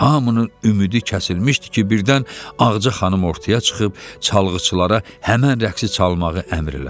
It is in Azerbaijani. Hamının ümidi kəsilmişdi ki, birdən Ağacə xanım ortaya çıxıb çalgıçılara həmin rəqsi çalmağı əmr elədi.